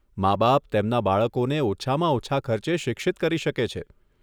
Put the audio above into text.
માબાપ તેમના બાળકોને ઓછામાં ઓછાં ખર્ચે શિક્ષિત કરી શકે છે.